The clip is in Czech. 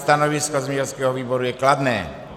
Stanovisko zemědělského výboru je kladné.